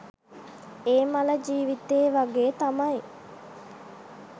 ඒ මල ජිවිතේ වගේ තමයි.